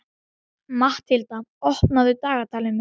Matthilda, opnaðu dagatalið mitt.